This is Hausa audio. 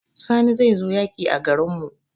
Sani zai zo yaƙi a garin mu